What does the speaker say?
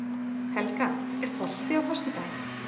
Helga, er bolti á föstudaginn?